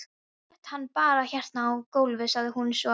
Settu hann bara hérna á gólfið, sagði hún svo.